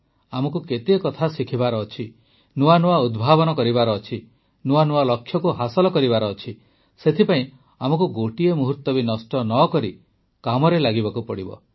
ଆମକୁ କେତେକଥା ଶିଖିବାର ଅଛି ନୂଆ ନୂଆ ଉଦ୍ଭାବନ କରିବାର ଅଛି ନୂଆ ନୂଆ ଲକ୍ଷ୍ୟକୁ ହାସଲ କରିବାର ଅଛି ସେଥିପାଇଁ ଆମକୁ ଗୋଟିଏ ମୁହୂର୍ତ୍ତ ବି ନଷ୍ଟ ନ କରି କାମରେ ଲାଗିବାକୁ ହେବ